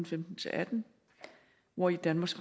femten til atten hvori danmarks